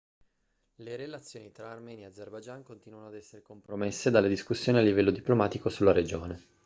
le relazioni tra armenia e azerbaijan continuano ad essere compromesse dalle discussioni a livello diplomatico sulla regione